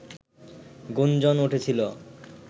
গুঞ্জন উঠেছিল